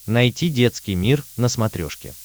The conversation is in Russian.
найти детский мир на смотрешке